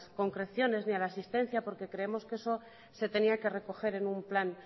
concreciones ni a la asistencia porque creemos que eso se tenía que recoger en un plan